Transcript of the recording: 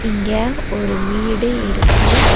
இங்க ஒரு வீடு இருக்கு.